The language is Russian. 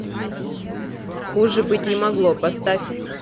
хуже быть не могло поставь